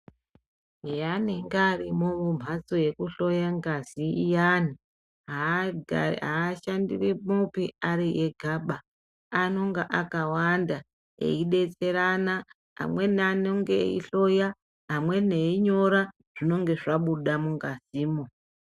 Pevanenge vari mumbatso yekuhloya ngazi revanhu avashandi vari Vega piya anenge akawanda eidetserana amweni anenge eihloya amweni einyora zvinenge zvabuda mukati mo.